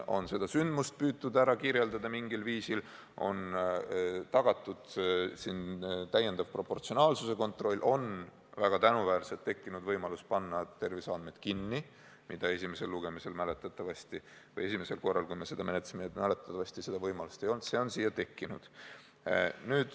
Näiteks on püütud seda sündmust mingil viisil kirjeldada, tagatud on täiendav proportsionaalsuse kontroll, väga tänuväärselt on tekkinud võimalus panna terviseandmed kinni – mäletatavasti esimesel korral, kui me seda eelnõu menetlesime, seda võimalust ei olnud, nüüd on see siia tekkinud.